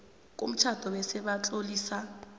komtjhado bese batlolisa